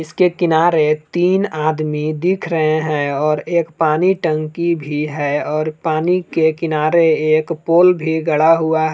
इसके किनारे तीन आदमी दिख रहे हैं और एक पानी टंकी भी है और पानी के किनारे एक पोल भी गड़ा हुआ --